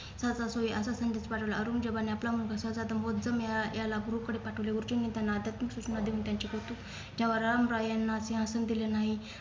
असा संदेश पाठवला औरंजेबाने आपला मुघल सरदार मेळा याला गुरुकडे पाठवले गुरुजींना त्यांना सूचना देऊन त्यांचे कौतुक या वादळाम रॉय यांना सिंहासन दिले नाही